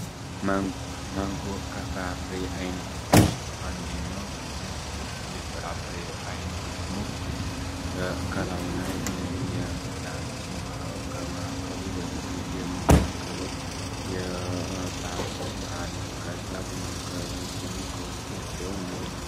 ማንጎ ማንጎ ከፍራፍሬ አይነቶች ውስጥ አንደኛው ሲሆን፤ ይህ የፍራፍሬ አይነት ደግሞ ከላዩ ላይ የሚላጥ ሲኖረው ከማዕከሉ ደግሞ የምንመገበው የፓርት አለ። ከዛ በመቀጠል ከታች ደግሞ ውስጥ ላይ ፍሬውን እናገኘዋለን።